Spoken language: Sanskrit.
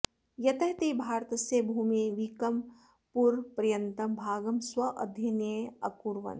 यतः ते भारतस्य भूमेः वीकमपुरपर्यन्तं भागं स्वाधीन्ये अकुर्वन्